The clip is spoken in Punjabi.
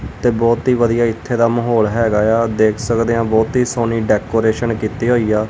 ਤੇ ਬਹੁਤ ਹੀ ਵਧੀਆ ਇੱਥੇ ਦਾ ਮਾਹੌਲ ਹੈਗਾ ਏ ਆ ਦੇਖ ਸਕਦੇ ਆ ਬਹੁਤੀ ਸੋਹਣੀ ਡੈਕੋਰੇਸ਼ਨ ਕੀਤੀ ਹੋਈ ਆ।